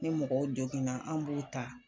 Ni mɔgɔw joginna an' b'u ta